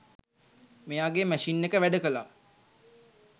මෙයාගේ මැෂින් එක වැඩකළා